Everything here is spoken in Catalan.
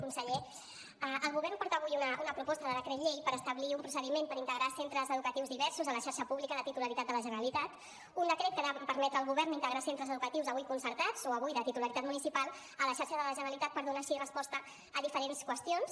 conseller el govern porta avui una proposta de decret llei per establir un procediment per integrar centres educatius diversos a la xarxa pública de titularitat de la generalitat un decret que ha de permetre al govern integrar centres educatius avui concertats o avui de titularitat municipal a la xarxa de la generalitat per donar així resposta a diferents qüestions